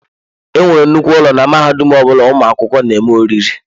E nwere nnukwu ụlọ na mahadum ọ bụla ụmụ akwụkwọ na-eme oriri.